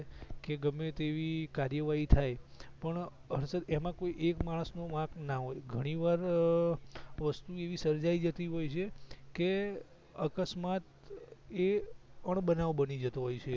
કે ગમે તેવી કાર્યવાહી થાય પણ હર્ષદ એમાં કોઈ એક માણસ નું વાંક ના હોય ઘણીવાર વસ્તુ એવી સર્જાઈ જતી હોય છે કે અકસ્માત એ અણબનાવ બની જતો હોય છે